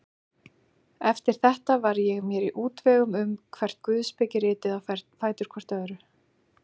Eftir þetta var ég mér í útvegum um hvert guðspekiritið á fætur öðru.